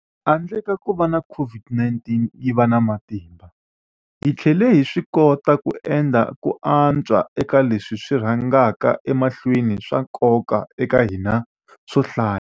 Handle ka kuva COVID-19 yi va na matimba, hi tlhele hi swikota ku endla ku antswa eka leswi swi rhangaka emahlweni swa nkoka eka hina swo hlaya.